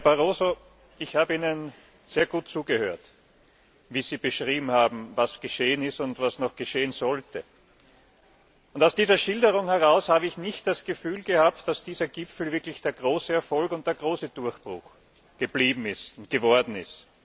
Herr Barroso, ich habe Ihnen sehr gut zugehört, wie Sie beschrieben haben, was geschehen ist und was noch geschehen sollte. Aus dieser Schilderung heraus habe ich nicht das Gefühl gehabt, dass dieser Gipfel wirklich der große Erfolg und der große Durchbruch geworden ist.